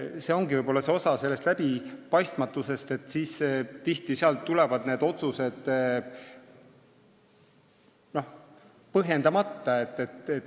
See ongi see osa läbipaistvusest, et miks siis tuli eitav vastus.